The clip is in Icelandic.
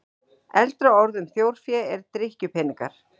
Eldra orð um þjórfé er drykkjupeningar.